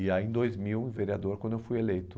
E aí, em dois mil, vereador, quando eu fui eleito.